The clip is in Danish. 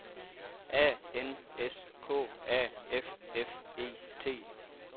A N S K A F F E T